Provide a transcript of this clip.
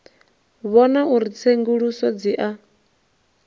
vhona uri tsenguluso dzi a